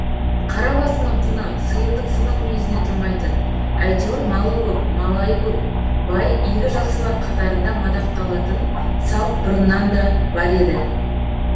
қара басының құны сиырдың сынық мүйізіне тұрмайтын әйтеуір малы көп малайы көп бай игі жақсылар қатарында мадақталатын салт бұрыннан да бар еді